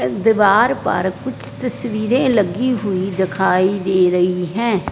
अ दीवार पर कुछ तस्वीरें लगी हुई दिखाई दे रही है।